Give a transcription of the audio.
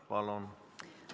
Palun!